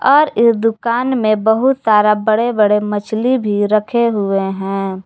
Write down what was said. और इस दुकान में बहुत सारा बड़े बड़े मछली भी रखे हुए हैं।